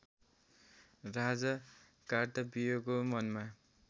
राजा कार्तविर्यको मनमा